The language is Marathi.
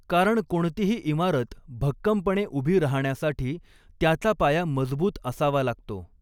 कारण कोणतीही इमारत भक्कमपणे उभी राहण्यासाठी त्याचा पाया मजबूत असावा लागतो.